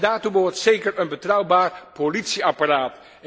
En daartoe behoort zeker een betrouwbaar politieapparaat.